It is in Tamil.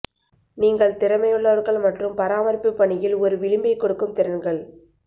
நீங்கள் திறமையுள்ளவர்கள் மற்றும் பராமரிப்பு பணியில் ஒரு விளிம்பைக் கொடுக்கும் திறன்கள்